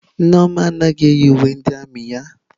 Nneoma anaghị eyi uwe ndị armiị ya.